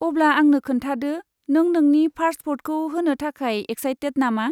अब्ला आंनो खोन्थादो, नों नोंनि फार्स्ट भटखौ होनो थाखाय एक्सायटेट नामा?